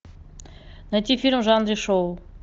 найти фильм в жанре шоу